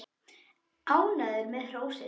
Ánægður með hrósið.